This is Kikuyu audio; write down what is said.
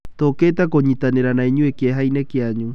Tũũkĩte kũnyitanĩra na inyuĩ kieha-inĩ kianyu.